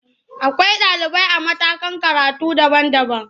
Akwai ɗalibai a matakan karatu daban-daban.